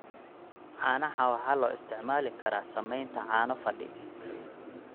Caanaha waxaa loo isticmaali karaa samaynta caano fadhi.